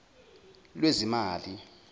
lwezimali